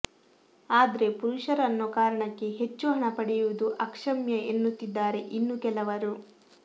ಆದ್ರೆ ಪುರುಷರು ಅನ್ನೋ ಕಾರಣಕ್ಕೆ ಹೆಚ್ಚು ಹಣ ಪಡೆಯುವುದು ಅಕ್ಷಮ್ಯ ಎನ್ನುತ್ತಿದ್ದಾರೆ ಇನ್ನು ಕೆಲವರು